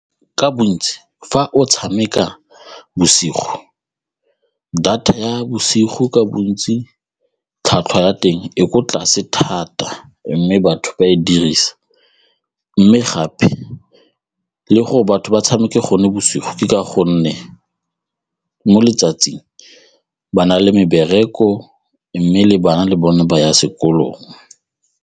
Ka bontsi, fa o tshameka bosigo, data ya bosigo ka bontsi tlhwatlhwa ya teng e ko tlase thata mme batho ba e dirisa mme gape le gore batho ba tshameke gone bosigo ka gonne mo letsatsing ba na le mebereko mme le bana le bone ba ya sekolong.